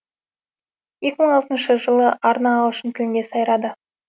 екі мың алтыншы жылы арна ағылшын тілінде сайрады